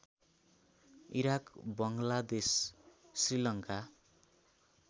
Iraq Bangladesh Sri Lanka